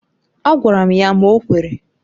Agwara m ya ma o kwere.